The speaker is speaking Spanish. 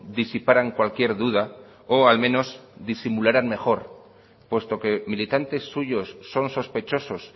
disiparan cualquier duda o al menos disimularan mejor puesto que militantes suyos son sospechosos